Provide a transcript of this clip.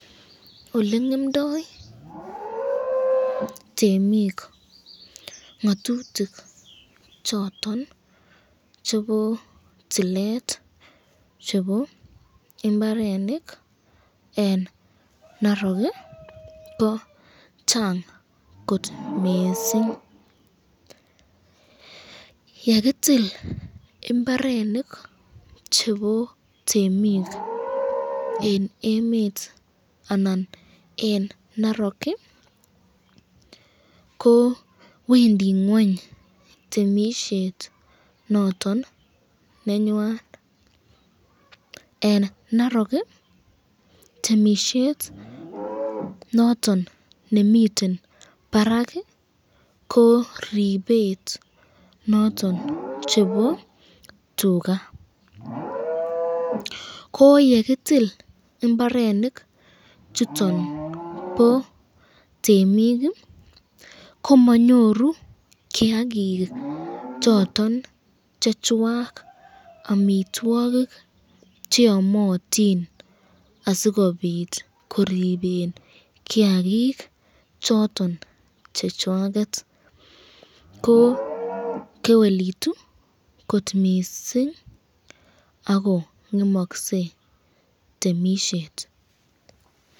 Olengemndoi temik ngatutik choton chebo toilet chebo imbarenik eng narok ,ko chang kot mising, yekitil imbarenik chebo temik eng emet anan eng narok, ko Wendi ngweny temisyet noton nenywan ,eng narok temisyet noton nemiten barak ko ripet noton nebo tuka, ko yekitil imbarenik chuton bo temik komanyoru kiakik choton chechwak amitwokik cheamatin asikobit koriben kiakik choton chechwakek, ko kewelutu kot missing ako ngemakse temisyet.